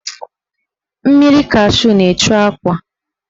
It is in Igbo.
Mmiri kashu na-echu akwa.